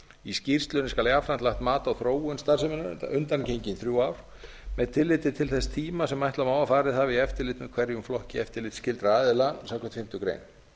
í skýrslunni skal jafnframt lagt mat á þróun starfseminnar undangengin þrjú ár með tilliti til þess tíma sem ætla má að farið hafi í eftirlit með hverjum flokki eftirlitsskyldra aðila samkvæmt fimmtu grein